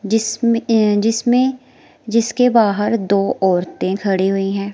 जिसमें अं जिसमें जिसके बहार दो औरतें खड़ी हुई हैं।